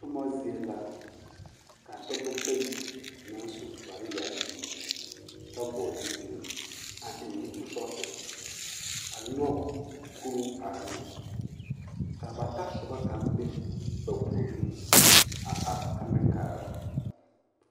Toma zie la ka dɔbɔ bayi naŋ su kpare yaayi kyɛ vɔgele zupili a eŋ nuuri sɔɔsere a nyɔge kuruu are ne ka ba tasoba kaŋ be ba puoriŋ a are ta meŋ kaara.